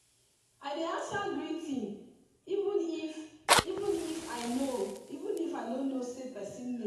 i dey answer greeting even if even if i no know the person name.